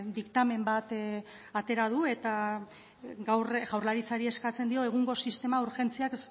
diktamen bat atera du eta gaur jaurlaritzari eskatzen dio egungo sistema urgentziaz